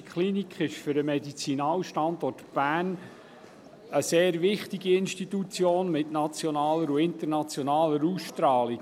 Die ZMK Bern sind für den Medizinalstandort Bern eine sehr wichtige Institution von nationaler und internationaler Ausstrahlung.